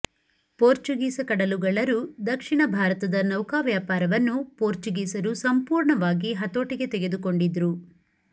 ಪೋರ್ಚುಗೀಸ ಕಡಲುಗಳ್ಳರು ದಕ್ಷಿಣ ಭಾರತದ ನೌಕಾ ವ್ಯಾಪಾರವನ್ನು ಪೋರ್ಚುಗೀಸರು ಸಂಪೂರ್ಣವಾಗಿ ಹತೋಟಿಗೆ ತೆಗೆದುಕೊಂಡಿದ್ರು